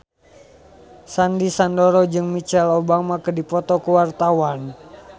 Sandy Sandoro jeung Michelle Obama keur dipoto ku wartawan